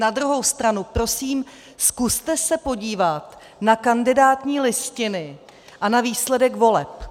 Na druhou stranu prosím, zkuste se podívat na kandidátní listiny a na výsledek voleb.